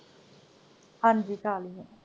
ਹਾਂਜੀ ਖਾਲੀ ਹੈ।